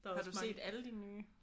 Har du set alle de nye?